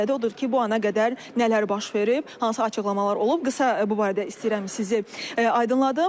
Odur ki, bu ana qədər nələr baş verib, hansı açıqlamalar olub, qısa bu barədə istəyirəm sizi aydınladım.